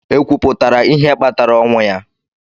Ekwuputara ihe kpatara ọnwụ ya?